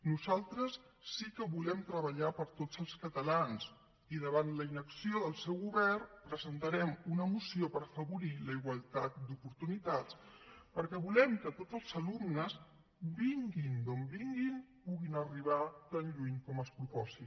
nosaltres sí que volem treballar per a tots els catalans i davant la inacció del seu govern presentarem una moció per afavorir la igualtat d’oportunitats perquè volem que tots els alumnes vinguin d’on vinguin puguin arribar tan lluny com es proposin